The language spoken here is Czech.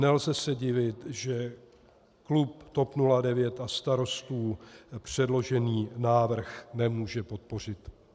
Nelze se divit, že klub TOP 09 a Starostů předložený návrh nemůže podpořit.